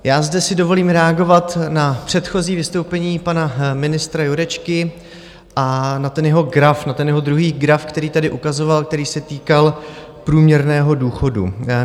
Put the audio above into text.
Já zde si dovolím reagovat na předchozí vystoupení pana ministra Jurečky a na ten jeho graf, na ten jeho druhý graf, který tady ukazoval, který se týkal průměrného důchodu.